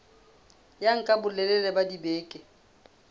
ya nka bolelele ba dibeke